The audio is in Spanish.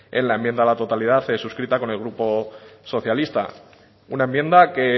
en la enmienda a la totalidad suscrita con el grupo socialista una enmienda que